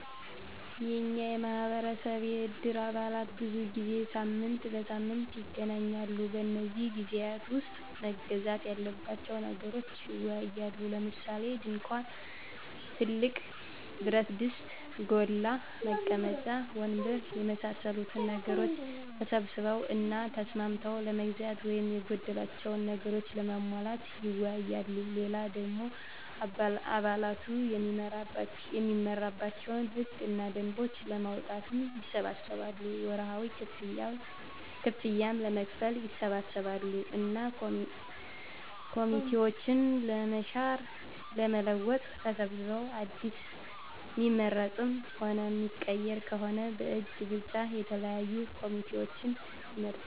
የኛ ማህበረሰብ የእድር አባላት ብዙ ጊዜ ሳምንት በሳምንት ይገናኛሉ። በነዚህ ግዜያት ዉስጥ መገዛት ያለባቸዉን ነገሮች ይወያያሉ። ለምሳሌ፦ ድንኳን፣ ትልቅ ብረትድስት (ጎላ) ፣ መቀመጫ ወንበር የመሳሰሉትን ነገሮች ተሰብስበዉ እና ተስማምተዉ ለመግዛት ወይም የጎደላቸዉን ነገሮች ለማሟላት ይወያያሉ። ሌላ ደሞ አባላቱ እሚመራባቸዉን ህግ እና ደንቦች ለማዉጣትም ይሰበሰባሉ፣ ወርሀዊ ክፍያም ለመክፈል ይሰበሰባሉ እና ኮሚቴዎችን ለመሻር ለመለወጥ ተሰብስበዉ አዲስ እሚመረጥም ሆነ እሚቀየር ከሆነም በእጅ ብልጫ የተለያዩ ኮሚቴዎችን ይመርጣሉ።